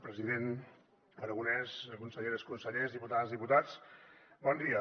president aragonès conselleres consellers diputades diputats bon dia